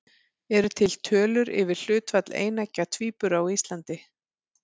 Eru til tölur yfir hlutfall eineggja tvíbura á Íslandi?